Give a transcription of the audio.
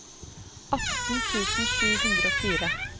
atten tusen sju hundre og fire